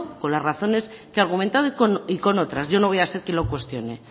por las razones que argumente y con otras yo no voy a hacer que lo cuestione